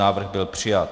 Návrh byl přijat.